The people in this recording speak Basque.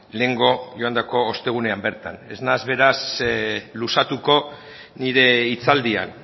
lehengo joandako ostegunean bertan ez naiz beraz luzatuko nire hitzaldian